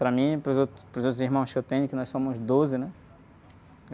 Para mim, para os outros, para os outros irmãos que eu tenho, que nós somos doze, né?